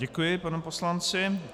Děkuji panu poslanci.